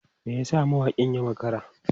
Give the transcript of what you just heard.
Me yasa mawakin ya makara?